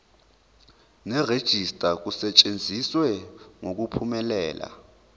nerejista kusetshenziswe ngokuphumelela